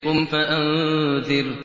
قُمْ فَأَنذِرْ